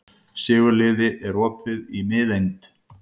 Sigurliði, er opið í Miðeind?